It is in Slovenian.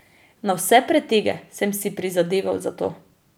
Na vse pretege sem si prizadeval za to.